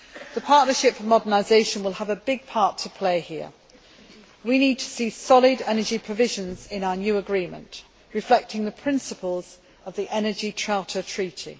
The Partnership for Modernisation will have a big part to play here. We need to see solid energy provisions in our new agreement, reflecting the principles of the Energy Charter Treaty.